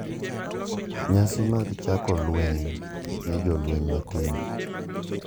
Nyasi mag chako lweny ne jolweny matindo,